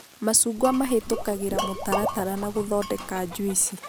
macungwa mahĩtũkagĩra mũtaratara na gũthondeka njuici